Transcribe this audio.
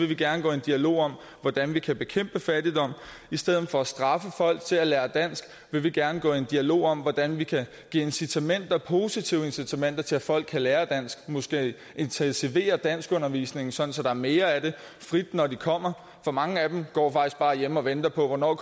vi gerne gå i dialog om hvordan vi kan bekæmpe fattigdom i stedet for at straffe folk til at lære dansk vil vi gerne gå i dialog om hvordan vi kan give incitamenter positive incitamenter til at folk kan lære dansk måske intensivere danskundervisningen sådan at der er mere af det frit når de kommer for mange af dem går faktisk bare hjemme og venter på hvornår